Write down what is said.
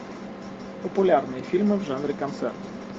популярные фильмы в жанре концерт